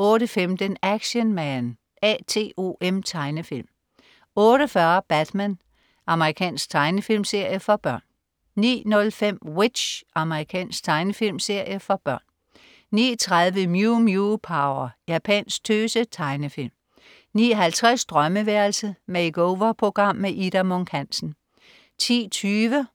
08.15 Action Man A.T.O.M. Tegnefilm 08.40 Batman. Amerikansk tegnefilmserie for børn 09.05 W.i.t.c.h. Amerikansk tegnefilmserie for børn 09.30 Mew Mew Power. Japansk tøse-tegnefilm 09.50 Drømmeværelset. Makeover-program. Ida Munk Hansen 10.20